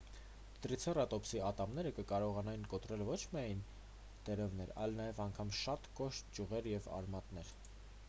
տրիցերատոպսի ատամները կկարողանային կոտրել ոչ միայն տերևներ այլ նաև անգամ շատ կոշտ ճյուղեր և արմատներ